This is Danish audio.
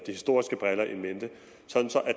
historiske briller in mente så